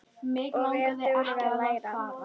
Og er dugleg að læra.